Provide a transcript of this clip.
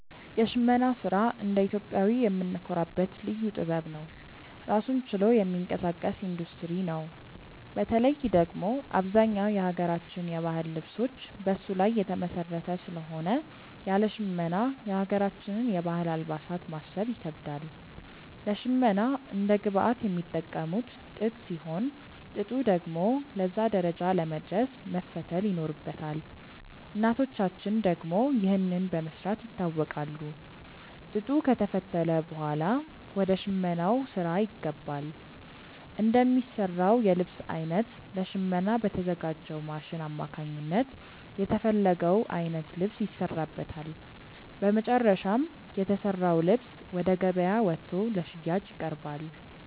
የሽመና ስራ እንደ ኢትዮጵያዊ የምንኮራበት ልዩ ጥበብ ነው። ራሱን ችሎ የሚንቀሳቀስ ኢንዱስትሪ ነው። በተለይ ደግሞ አብዛኛው የሀገራችን የባህል ልብሶች በሱ ላይ የተመሰረተ ስለሆነ ያለ ሽመና የሀገራችንን የባህል አልባሳት ማሰብ ይከብዳል። ለሽመና እንደ ግብአት የሚጠቀሙት ጥጥ ሲሆን፣ ጥጡ ደግሞ ለዛ ደረጃ ለመድረስ መፈተል ይኖርበታል። እናቶቻችን ደግሞ ይህንን በመስራት ይታወቃሉ። ጥጡ ከተፈተለ ብኋላ ወደ ሽመናው ስራ ይገባል። እንደሚሰራው የልብስ አይነት ለሽመና በተዘጋጅው ማሽን አማካኝነት የተፈለገው አይነት ልብስ ይሰራበታል። በመጨረሻም የተሰራው ልብስ ወደ ገበያ ወጥቶ ለሽያጭ ይቀርባል።